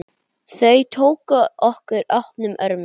Þau tóku okkur opnum örmum.